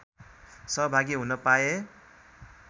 सहभागी हुन पाए